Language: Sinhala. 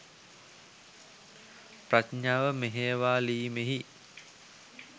ප්‍රඥාව මෙහෙයවාලීමෙහි